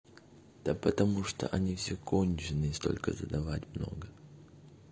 да потому что они все конченые столько задавать много